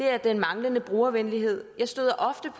er den manglende brugervenlighed jeg støder ofte